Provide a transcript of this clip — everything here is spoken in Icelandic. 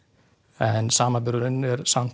en samanburðurinn er